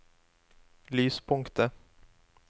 lyspunktet